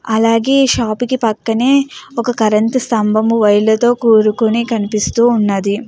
అలాగే ఈ షాప్ కి పక్కనే ఒక కరెంట్ స్తంబం వైర్ ల తో కూడుకొని కనిపిస్తూ ఉన్నది.